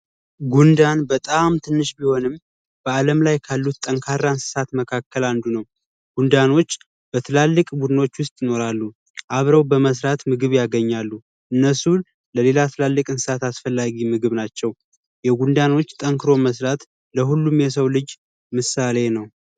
ጉንዳን በጣም ትንሽ ቢሆንም በአለም ላይ ካሉት ጠንካራ እንስሳት መካከል አንዱ ነው። ጉንዳኖች በትላልቅ ቡድኖች ውስጥ ይኖራሉ። አብረው በመስራት ምግብ ያገኛሉ። እነሱን ለሌላ ትላልቅ እንስሳት አስፈላጊ ምግብ ናቸው። የጉንዳኖች ጠንክሮ መስራት ለሁሉም የሰው ልጅ ምሳሌ ነው።